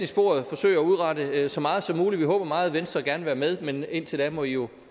sporet forsøge at udrette så meget som muligt vi håber meget venstre gerne vil være med men indtil da må i jo